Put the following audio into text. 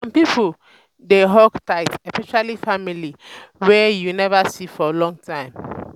some pipo dey hug tight especially family wey you wey you neva see for long time.